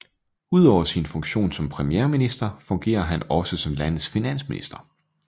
Udover sin funktion som premierminister fungerer han også som landets finansminister